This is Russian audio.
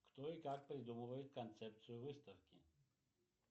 кто и как придумывает концепцию выставки